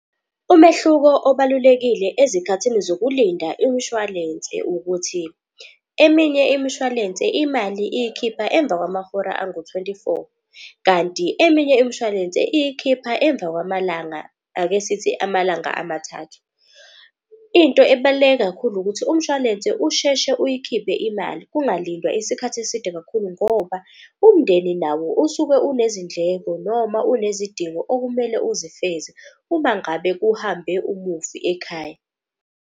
Umehluko obalulekile ezikhathini zokulinda imshwalense ukuthi, eminye imishwalense imali iyikhipha emva kwamahora angu-twenty four. Kanti eminye imshwalense iyikhipha emva kwamalanga, ake sithi amalanga amathathu. Into ebaluleke kakhulu ukuthi umshwalense usheshe uyikhiphe imali kungalindwa isikhathi eside kakhulu. Ngoba umndeni nawo usuke unezindleko noma unezidingo okumele uzifeze uma ngabe kuhambe umufi ekhaya.